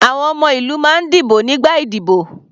Àwọn ọmọ ìlú máa ń dìbò nígbà ìdíbò.